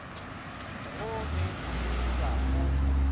go ge e ba o